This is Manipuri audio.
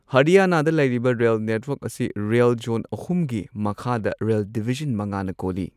ꯍꯔꯤꯌꯥꯅꯥꯗ ꯂꯩꯔꯤꯕ ꯔꯦꯜ ꯅꯦꯠꯋꯥꯔ꯭ꯛ ꯑꯁꯤ ꯔꯦꯜ ꯖꯣꯟ ꯑꯍꯨꯝꯒꯤ ꯃꯈꯥꯗ ꯔꯦꯜ ꯗꯤꯚꯤꯖꯟ ꯃꯉꯥꯅꯥ ꯀꯣꯜꯂꯤ꯫